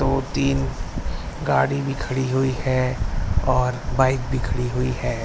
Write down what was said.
दो तीन गाड़ी भी खड़ी हुई है और बाइक भी खड़ी हुई है।